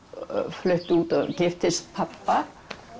flutti út og giftist pabba